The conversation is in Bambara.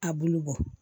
A bulu bɔ